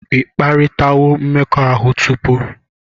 Ị kparịtawo mmekọahụ tupu?